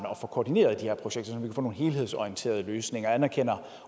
få koordineret de her projekter så man får nogle helhedsorienterede løsninger anerkender